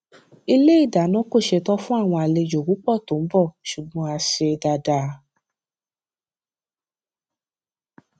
ilé ìdáná kò ṣetán fún àwọn àlejò púpọ tó ń bò ṣùgbọn a ṣe dáadáa